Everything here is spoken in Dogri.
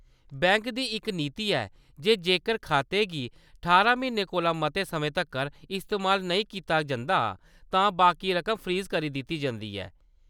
बैंक दी इक नीति ऐ जे जेकर खाते गी ठारां म्हीनें कोला मते समें तक्कर इस्तेमाल नेईं कीता जंदा , तां बाकी रकम फ्रीज करी दित्ती जंदी ऐ।